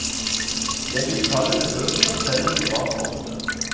Jeg vil kalle det bøker, selv om de var korte.